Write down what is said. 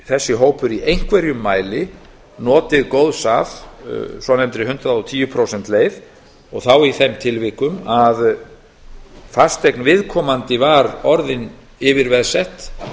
þessi hópur í einhverjum mæli notið góðs af svonefndri hundrað og tíu prósenta leið og þá í þeim tilvikum að fasteign viðkomandi var orðin yfirveðsett